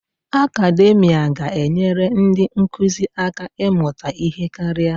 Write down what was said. Akademia ga-enyere ndị nkụzi aka ịmụta ihe karịa.